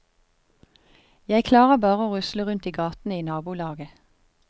Jeg klarer bare å rusle rundt i gatene i nabolaget.